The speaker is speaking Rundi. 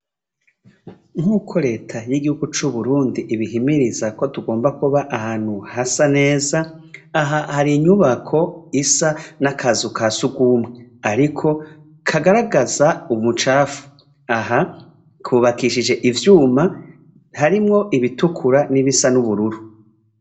Nkuko reta y' igihugu c' Uburundi ibihimiriza yuko tugomba kuba ahantu neza aha hari inyubako isa n' akazu ka sugumwe ariko kagaragaza ubucafu aha kubakishije ivyuma harimwo ibitukura n' ibisa n' ubururu.